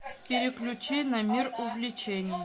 переключи на мир увлечений